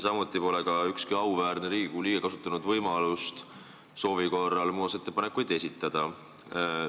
Samuti pole ükski auväärne Riigikogu liige kasutanud võimalust soovi korral muudatusettepanekuid esitada.